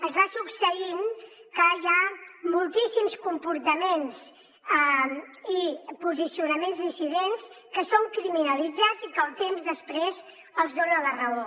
es va succeint que hi ha moltíssims comportaments i posicionaments dissidents que són criminalitzats i que el temps després els dona la raó